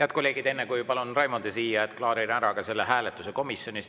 Head kolleegid, enne kui palun siia Raimondi, klaarin ära selle hääletuse komisjonis.